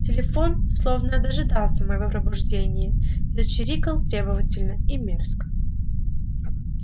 телефон словно дожидался моего пробуждения зачирикал требовательно и мерзко